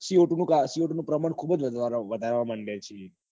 C O twoC O two ખુબ જ વધારવા માંડ્યા છીએ